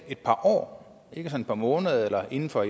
par år ikke et par måneder inden for